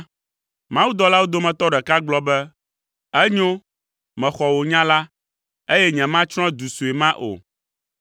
Mawudɔlawo dometɔ ɖeka gblɔ be, “Enyo, mexɔ wò nya la, eye nyematsrɔ̃ du sue ma o.